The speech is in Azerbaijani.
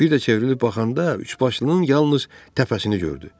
Bir də çevrilib baxanda üçbaşlının yalnız təpəsini gördü.